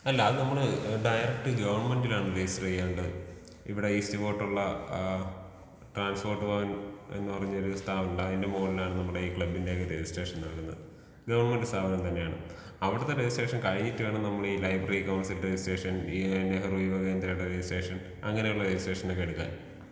അല്ലാ അത് നമ്മൾ ഡയറക്റ്റ് ഗവൺമെന്റിലാണ് രജിസ്റ്റർ ചെയ്യേണ്ടത്. ഇവിടെ ഈസ്റ്റ് ഫോർട്ടുള്ള ആ ട്രാൻസ്പോർട്ട് ഭവന്‍ എന്ന് പറഞ്ഞൊരു സ്റ്റാളുണ്ട്. അതിന്റെ മുകളിലാണ് നമ്മുടെ ഈ ക്ലബ്ബിന്റെയൊക്കെ രജിസ്ട്രേഷൻ നടക്കുന്നത്. ഗവൺമെന്റ് സ്ഥാപനം തന്നെയാണ്. അവിടുത്തെ രജിസ്ട്രേഷൻ കഴിഞ്ഞിട്ട് വേണം നമ്മളി ഈ ലൈബ്രറി കൗൺസിലിംഗ് രജിസ്ട്രേഷൻ, ഈ നെഹ്റു യുവകേന്ദ്ര രജിസ്ട്രേഷൻ അങ്ങനെയുള്ള രജിസ്ട്രേഷൻ ഒക്കെ എടുക്കുവാൻ.